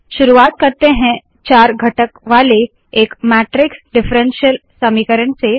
शुरुवात करते है चार घटक वाले एक मैट्रिक्स डिफरेन्शल समीकरण से